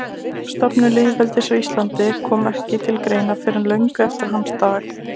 Stofnun lýðveldis á Íslandi kom ekki til greina fyrr en löngu eftir hans dag.